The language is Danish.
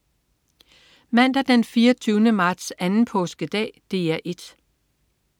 Mandag den 24. marts. Anden påskedag - DR 1: